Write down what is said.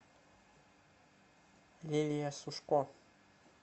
лилия сушко